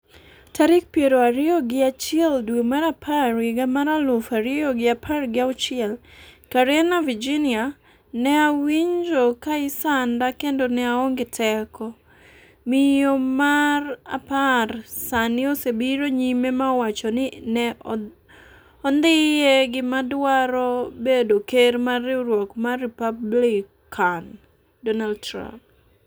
tarik piero ariyo gi achiel dwe mar apar higa mar aluf ariyo gi apar gi auchiel. Karena Virginia: "Ne awinjo ka isanda kendo ne aonge teko" Miyo mar apar sani osebiro nyime ma owacho ni ne ondhiye gi madwaro bedo ker mar riwruok mar Republican Donald Trump